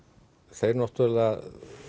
þeir náttúrulega